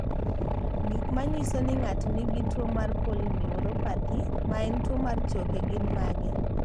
Gik manyiso ni ng'ato nigi tuwo mar polyneuropathy ma en tuwo mar choke, gin mage?